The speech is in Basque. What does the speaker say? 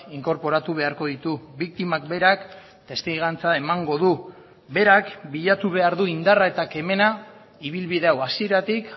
inkorporatu beharko ditu biktimak berak testigantza emango du berak bilatu behar du indarra eta kemena ibilbide hau hasieratik